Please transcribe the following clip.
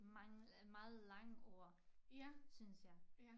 Mange meget lange ord synes jeg